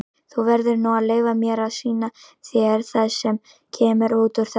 Þú verður nú að leyfa mér að sýna þér það sem kemur út úr þessu.